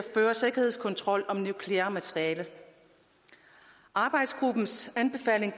føre sikkerhedskontrol om nukleart materiale arbejdsgruppens anbefaling